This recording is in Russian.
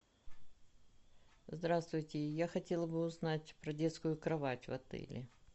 здравствуйте я хотела бы узнать про детскую кровать в отеле